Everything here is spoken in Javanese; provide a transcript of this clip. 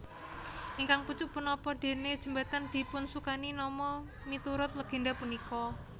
Ingkang pucuk punapa déné jembatan dipunsukani nama miturut legenda punika